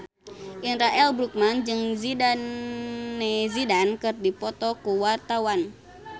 Indra L. Bruggman jeung Zidane Zidane keur dipoto ku wartawan